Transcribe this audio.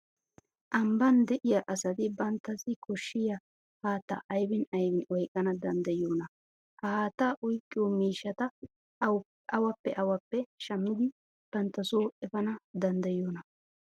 Ambban de'iya asati banttassi koshshiya haattaa aybin aybin oyqqana danddayiyoonaa? Ha haattaa oyqqiyo miishshata awappe awappe shammidi bantta soo efana danddayiyoonaa?